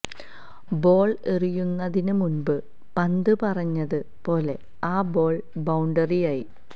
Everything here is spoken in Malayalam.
ബോൾ എറിയുന്നതിന് മുൻപ് പന്ത് പറഞ്ഞത് പോലെ ആ ബോൾ ബൌണ്ടറിയായി